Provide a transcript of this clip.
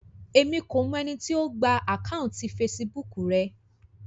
Èmi kò mọ ẹni tí ó gba àkáùntì fesibúùkù rẹ